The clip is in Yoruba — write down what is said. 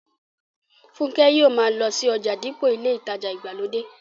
Fúnkẹ́ yóò ma lọ sí ọjà dípò ilé ìtajà ìgbàlódé